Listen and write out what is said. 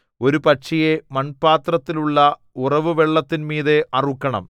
ഒരു പക്ഷിയെ മൺപാത്രത്തിലുള്ള ഉറവുവെള്ളത്തിന്മീതെ അറുക്കണം